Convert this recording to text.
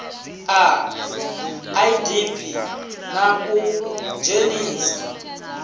a idp na u dzhenisa